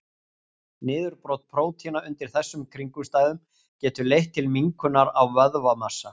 Niðurbrot prótína undir þessum kringumstæðum getur leitt til minnkunar á vöðvamassa.